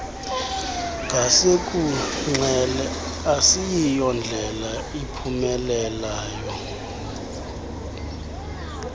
ngasekunxele asiyondlela iphumelayo